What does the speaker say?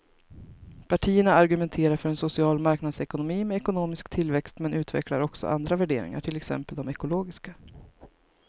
Partierna argumenterar för en social marknadsekonomi med ekonomisk tillväxt men utvecklar också andra värderingar, till exempel de ekologiska.